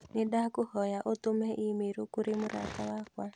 Nĩndakũhoya ũtũme i-mīrū kũrĩ mũrata wakwa.